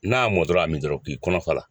N'a mɔntɔla y'a min dɔrɔn k'i kɔnɔ f'a la.